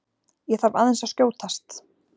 ÉG ÞARF AÐEINS AÐ SKJÓTAST!